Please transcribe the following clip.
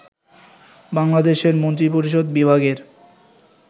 বাংলাদেশের মন্ত্রিপরিষদ বিভাগের